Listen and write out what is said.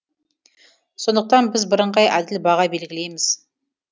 сондықтан біз бірыңғай әділ баға белгілейміз